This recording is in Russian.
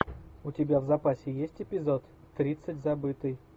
у тебя в запасе есть эпизод тридцать забытый